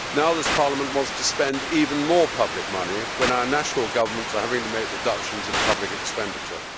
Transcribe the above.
This Parliament now wants to spend even more public money, when our national governments are having to make reductions in public expenditure.